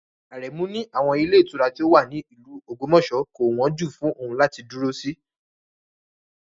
Aremu ní àwọn ilé ìtura tó wà ní ìlú Ogbomoso kò wọ́n jù fún òun láti dúró sí